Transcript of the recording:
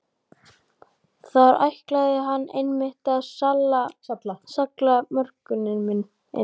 Þar ætlaði hann einmitt að salla mörkunum inn!